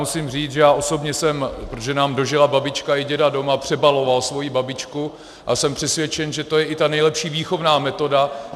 Musím říct, že já osobně jsem, protože nám dožila babička i děda doma, přebaloval svoji babičku a jsem přesvědčen, že to je i ta nejlepší výchovná metoda.